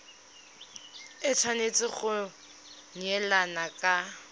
e tshwanetse go neelana ka